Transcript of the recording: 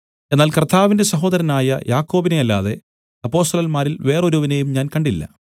എന്നാൽ കർത്താവിന്റെ സഹോദരനായ യാക്കോബിനെ അല്ലാതെ അപ്പൊസ്തലന്മാരിൽ വേറൊരുവനെയും ഞാൻ കണ്ടില്ല